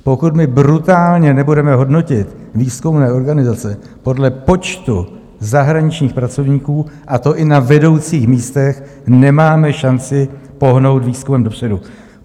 Pokud my brutálně nebudeme hodnotit výzkumné organizace podle počtu zahraničních pracovníků, a to i na vedoucích místech, nemáme šanci pohnout výzkumem dopředu.